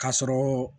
K'a sɔrɔ